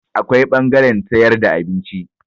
Akwai ɓangaren sayar da abinci.